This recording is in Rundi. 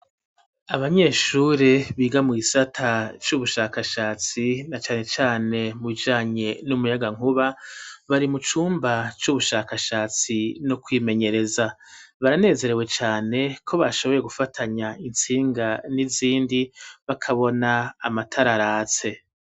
Abanyeshure, biga mu gisata c'ubushakashatsi, na cane cane, mu bijanye n'umuyagankuba, bari mu cumba c'ubushakashatsi, no kwimenyereza; baranezerewe cane, ko bashoboye gufatanya, intsinga n'izindi, bakabona, amatara aratse.